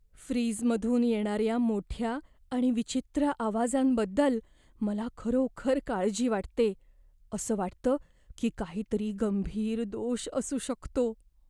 फ्रीजमधून येणाऱ्या मोठ्या आणि विचित्र आवाजांबद्दल मला खरोखर काळजी वाटते, असं वाटतं की काहीतरी गंभीर दोष असू शकतो.